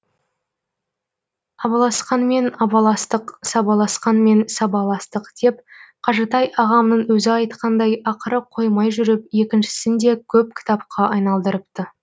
абаласқанмен абаластық сабаласқанмен сабаластық деп қажытай ағамның өзі айтқандай ақыры қоймай жүріп екіншісін де көк кітапқа айналдырыпты